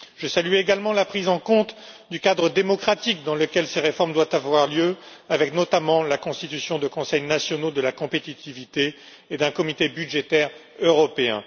Je salue également la prise en compte du cadre démocratique dans lequel ces réformes doivent avoir lieu, avec, notamment, la constitution de conseils nationaux de la compétitivité et d'un comité budgétaire européen.